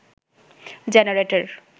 generator